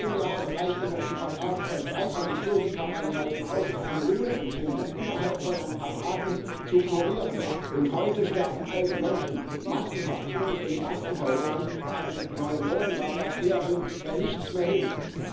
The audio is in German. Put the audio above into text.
Vor zehn Jahren reichte noch die Gabe von drei Antibiotika Einheiten aus, um eine Lungenentzündung innerhalb von ein paar Tagen zu kurieren, und heute sterben alte Menschen massenhaft in unseren Krankenhäusern an Pneumonia Bakterien, weil nichts mehr hilft.